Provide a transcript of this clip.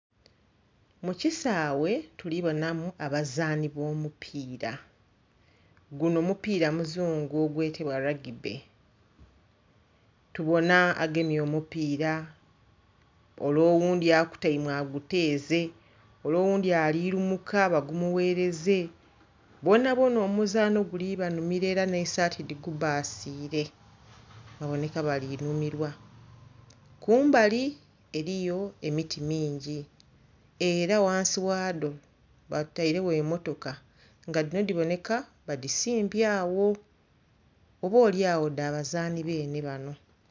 Mukisawe tulibonamu abazani obomupira guno mupira muzungu ogwetebwa lwagibbe tubona agemye omupira ole oghundhi akutaime aguteeze ole oghundhi alirumuka bagumughereze boonaboona omuzano guli banhumira era n'esaati dhigubbasire baboneka bali nhumirwa. Kumbali eriyo emiti mingi era ghansi wado batairegho emmotoka nga dhino dhiboneka badisimbye agho oba olyagho dhazani beene bano.